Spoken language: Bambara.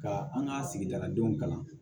Ka an ka sigida ladenw kalan